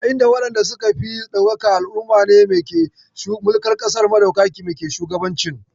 A inda waɗanda suka fi ɗaukaka a al'ummar ne ke mulkar ƙasar, maɗaukakan me ke shugabancin.